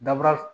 Dabura